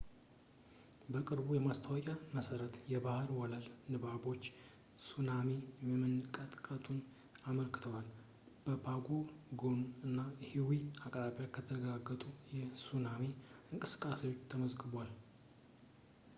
በቅርቡ ማስታወቂያ መሰረት የባህር ወለል ንባቦች ሱናሚ መመንጨቱን አመልክተዋል ከፓጎ ፓጎ እና ኒዌ አቅራቢያ የተረጋገጠ የሱናሚ እንቅስቃሴ ተመዝግቧል